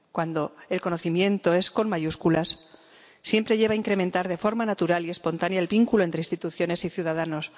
Cuando el conocimiento es con mayúsculas siempre lleva a incrementar de forma natural y espontánea el vínculo entre instituciones y ciudadanos.